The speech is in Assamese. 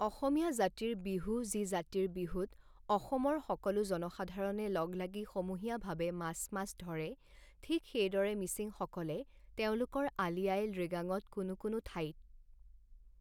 অসমীয়া জাতিৰ বিহু যি জাতিৰ বিহুত অসমৰ সকলো জনসাধাৰণে লগ লাগি সমূহীয়াভাৱে মাছ মাছ ধৰে ঠিক সেইদৰে মিছিংসকলে তেওঁলোকৰ আলি আঃয়ে লৃগাঙত কোনো কোনো ঠাইত